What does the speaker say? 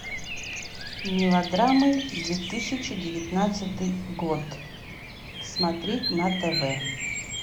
мелодрамы две тысячи девятнадцатый год смотреть на тв